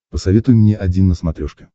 посоветуй мне один на смотрешке